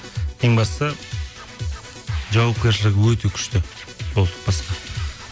ең бастысы жауапкершілігі өте күшті болды басқа